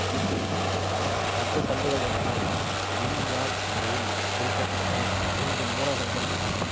பத்து தண்டுகள் என்பன யின்யான் முறையில் பிரிக்க பட்ட ஐந்து மூலகங்கள் ஆகும்